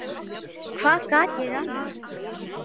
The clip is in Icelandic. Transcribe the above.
Hvað gat ég annað?